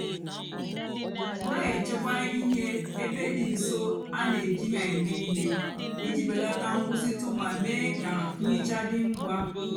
nà-èchekwa íhè ébé dị nsó á nà-èjí hà èmè íhè íjì belata nkwụsịtụ mà mée kà nhicha dị ngwa.